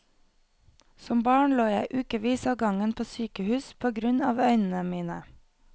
Som barn lå jeg i ukevis av gangen på sykehus på grunn av øynene mine.